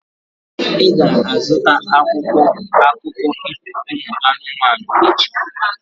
Ị ga-azụta akwụkwọ akụkọ ifo ụmụ anụmanụ echi?